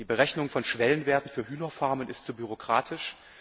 Die Berechnung von Schwellenwerten für Hühnerfarmen ist zu bürokratisch.